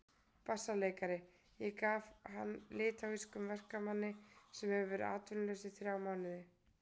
BASSALEIKARI: Ég gaf hann litháískum verkamanni sem hefur verið atvinnulaus í þrjá mánuði.